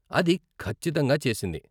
అది ఖచ్చితంగా చేసింది.